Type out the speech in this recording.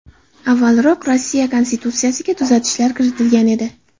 Avvalroq Rossiya Konstitutsiyasiga tuzatishlar kiritilgan edi.